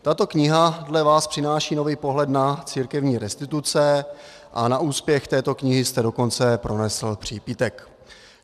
Tato kniha dle vás přináší nový pohled na církevní restituce a na úspěch této knihy jste dokonce pronesl přípitek.